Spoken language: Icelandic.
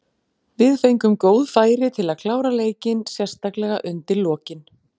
Við fengum góð færi til að klára leikinn, sérstaklega undir lokin.